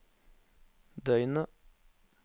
døgnet